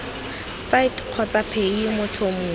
site kgotsa paye motho mongwe